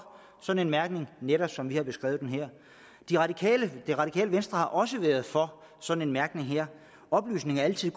sådan en mærkning netop som vi har beskrevet den her det radikale venstre har også været for sådan en mærkning her oplysning er altid